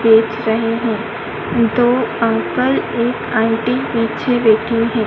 देख रहे हैं दो अंकल एक आंटी पीछे बैठे हैं।